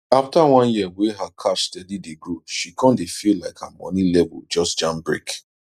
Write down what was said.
after one year wey her cash steady dey grow she come dey feel like her money level just jam brake